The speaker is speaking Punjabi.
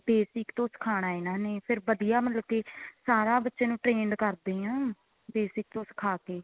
basic ਤੋਂ ਸਿਖਾਨਾ ਇਹਨਾ ਨੇ ਫੇਰ ਵਧੀਆ ਮਤਲਬ ਕੀ ਸਾਰਾ ਬੱਚੇ ਨੂੰ trained ਕਰਦੇ ਏ basic ਤੋਂ ਸਿਖਾ ਕੇ